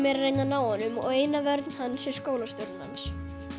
er að reyna að ná honum og eina vörn hans er skólastjórinn hans